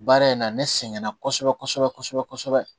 Baara in na ne sɛgɛnna kosɛbɛ kosɛbɛ kosɛbɛ